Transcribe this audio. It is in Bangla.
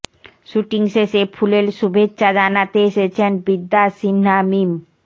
শুটিং শেষে ফুলেল শুভেচ্ছা জানাতে এসেছেন বিদ্যা সিনহা মিম